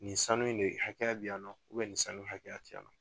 Nin sanu in de hakɛya bɛ yan nɔ nin sanu in ne hakɛya ti yan nɔ.